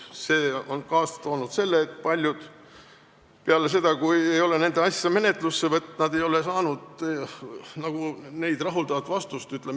See on kaasa toonud selle, et paljud ei ole peale seda, kui nende asja ei ole menetlusse võetud, saanud neid rahuldavat vastust.